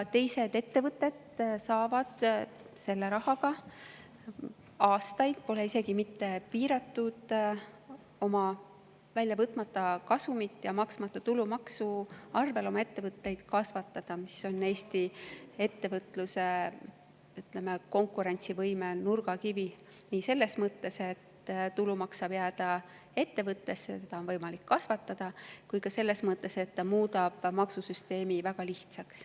Teised ettevõtjad on saanud aastaid selle rahaga – seda pole isegi mitte piiratud –, oma väljavõtmata kasumi ja maksmata tulumaksu abil oma ettevõtteid kasvatada, mis on Eesti ettevõtluse konkurentsivõime nurgakivi nii selles mõttes, et tulumaks saab jääda ettevõttesse ja seda on võimalik kasvatada, kui ka selles mõttes, et ta muudab maksusüsteemi väga lihtsaks.